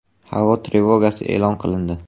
Havo trevogasi e’lon qilindi.